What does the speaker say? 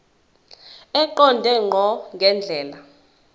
eqonde ngqo ngendlela